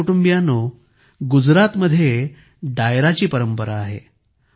माझ्या कुटुंबियांनो गुजरातमध्ये डायरा ची परंपरा आहे